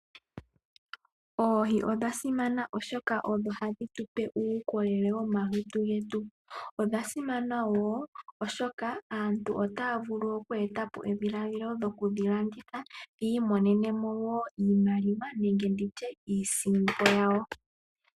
Oohi odha simana oshoka odho hadhi tupe uukolele womomalutu getu. Odha simana woo oshoka aantu otaya vulu oku eta po dhilaadhilo lyokudhi landitha yi imonene iimaliwa yawo.